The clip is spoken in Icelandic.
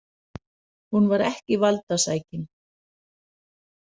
Hún var ekki valdasækin.